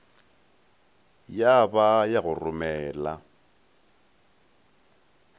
ya ba ya go romela